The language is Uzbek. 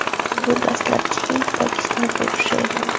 Bu dastlabki Hind-Pokiston urushi edi.